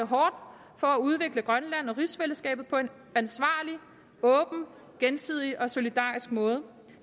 for at udvikle grønland og rigsfællesskabet på en ansvarlig åben gensidig og solidarisk måde